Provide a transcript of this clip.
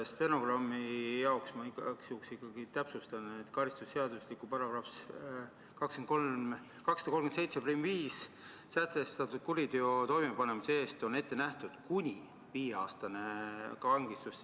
Stenogrammi jaoks ma igaks juhuks täpsustan, et karistusseadustiku §-s 2375 sätestatud kuriteo toimepanemise eest on ette nähtud kuni viieaastane vangistus.